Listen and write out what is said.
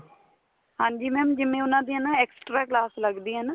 ਹਾਂਜੀ mam ਜਿਵੇਂ ਉਹਨਾ ਦੀਆਂ ਨਾextra class ਲੱਗਦੀ ਏ ਨਾ